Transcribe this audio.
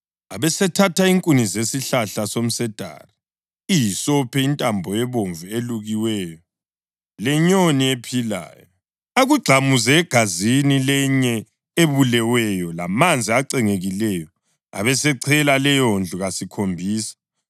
Abesethatha inkuni zesihlahla somsedari, ihisophi, intambo ebomvu elukiweyo lenyoni ephilayo, akugxamuze egazini lenye ebuleweyo lamanzi acengekileyo, abesechela leyondlu kasikhombisa.